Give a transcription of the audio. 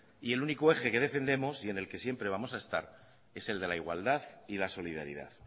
y el único eje que defendemos y en el que siempre vamos a estar es el de la igualdad y la solidaridad